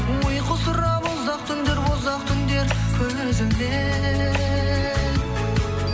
ұйқы сұрап ұзақ түндер ұзақ түндер көз ілмей